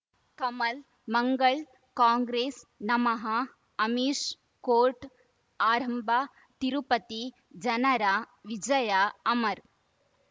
ಕಮಲ್ ಮಂಗಳ್ ಕಾಂಗ್ರೆಸ್ ನಮಃ ಅಮಿಷ್ ಕೋರ್ಟ್ ಆರಂಭ ತಿರುಪತಿ ಜನರ ವಿಜಯ ಅಮರ್